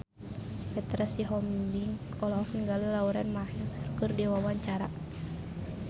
Petra Sihombing olohok ningali Lauren Maher keur diwawancara